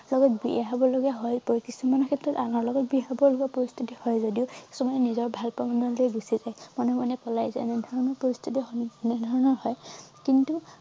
লগত বিয়া হব লগীয়া হৈ পৰে কিছুমান ক্ষেত্ৰত আনৰ লগত বিয়া হব লগ পৰিস্থিতি হয় যদিও কিছুমানে নিজৰ ভালপোৱা মানুহলৈ গুচি যায় মনে মনে পলাই যায় এনেধৰণৰ পৰিস্থিতি সন্মুখীন এনেধৰণৰ হয় কিন্তু